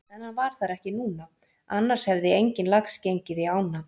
En hann var þar ekki núna annars hefði enginn lax gengið í ána.